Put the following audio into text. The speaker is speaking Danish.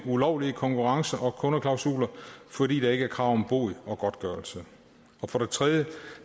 ulovlige konkurrence og kundeklausuler fordi der ikke er krav om bod og godtgørelse for det tredje